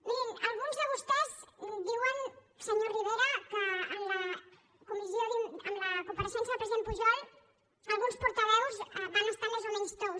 mirin alguns de vostès diuen senyor rivera que en la compareixença del president pujol alguns portaveus van estar més o menys tous